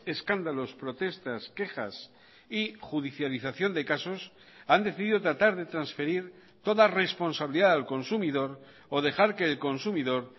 escándalos protestas quejas y judicialización de casos han decidido tratar de transferir toda responsabilidad al consumidor o dejar que el consumidor